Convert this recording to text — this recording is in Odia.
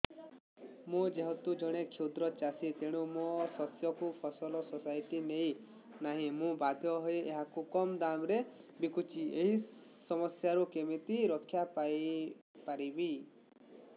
ମୁଁ ଯେହେତୁ ଜଣେ କ୍ଷୁଦ୍ର ଚାଷୀ ତେଣୁ ମୋ ଶସ୍ୟକୁ ଫସଲ ସୋସାଇଟି ନେଉ ନାହିଁ ମୁ ବାଧ୍ୟ ହୋଇ ଏହାକୁ କମ୍ ଦାମ୍ ରେ ବିକୁଛି ଏହି ସମସ୍ୟାରୁ କେମିତି ରକ୍ଷାପାଇ ପାରିବି